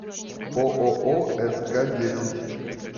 ооо скдесять